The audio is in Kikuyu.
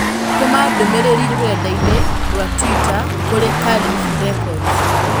Tũma ndũmĩrĩri rũrenda-inī rũa tũita kũrĩ calif records